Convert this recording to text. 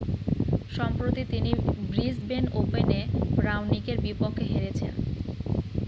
সম্প্রতি তিনি ব্রিসবেন ওপেনে রাওনিকের বিপক্ষে হেরেছেন